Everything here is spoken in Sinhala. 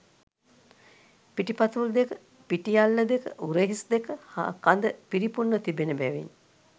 පිටිපතුල් දෙක, පිටි අල්ල දෙක, උරහිස් දෙක හා කඳ පිරිපුන්ව තිබෙන බැවින්